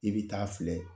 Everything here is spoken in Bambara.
I bɛ taa filɛ